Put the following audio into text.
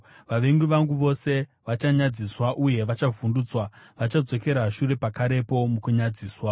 Vavengi vangu vose vachanyadziswa uye vachavhundutswa; vachadzokera shure pakarepo mukunyadziswa.